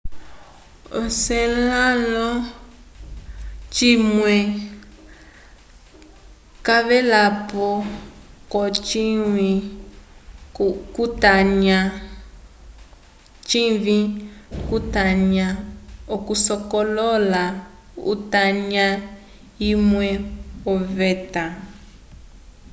o encelado cimwe cavelapo ko cinyi cu tanya okusokolola utanya umwe oveta